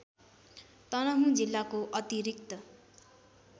तनहुँ जिल्लाको अतिरिक्त